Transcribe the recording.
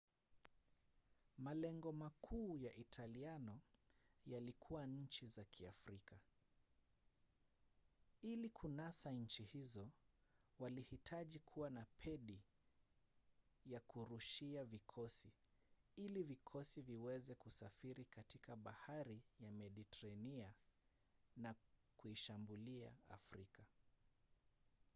malengo makuu ya italiano yalikuwa nchi za kiafrika. ili kunasa nchi hizo walihitaji kuwa na pedi ya kurushia vikosi ili vikosi viweze kusafiri katika bahari ya mediteranea na kuishambulia afrika